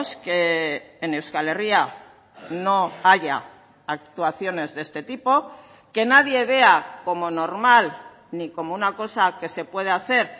que en euskal herria no haya actuaciones de este tipo que nadie vea como normal ni como una cosa que se puede hacer